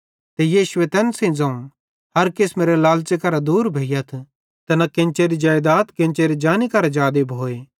ते यीशुए तैन सेइं ज़ोवं हर किसमेरे लालच़े करां दूर भोइयथ ते न केन्चेरी जेइदाद केन्चेरी जानी करां जादे भोए